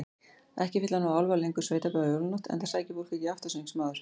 Ekki fylla nú álfar lengur sveitabæi á jólanótt, enda sækir fólk ekki aftansöng sem áður.